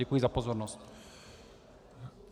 Děkuji za pozornost.